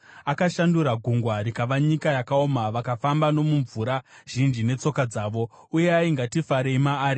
Akashandura gungwa rikava nyika yakaoma, vakafamba nomumvura zhinji netsoka dzavo, uyai, ngatifarei maari.